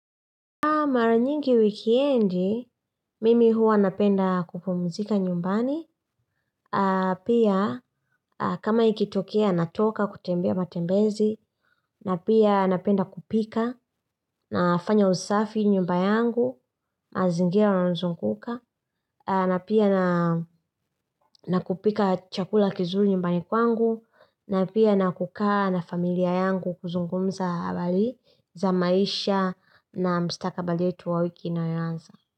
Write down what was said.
Kwa mara nyingi wikendi, mimi huwa napenda kupumzika nyumbani, pia kama ikitokea natoka kutembea matembezi, na pia napenda kupika, nafanya usafi nyumba yangu, mazingira yanayozunguka, na pia nakupika chakula kizuri nyumbani kwangu, na pia na kukaa na familia yangu kuzungumza habari za maisha na mstakabali wetu wa wiki inayoanza.